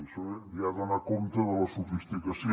això ja dona compte de la sofisticació